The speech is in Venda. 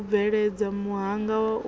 u bveledza muhanga wa u